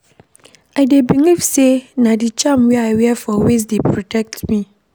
I dey believe sey na di charm wey I wear for waist dey protect me.